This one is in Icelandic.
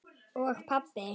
og pabbi.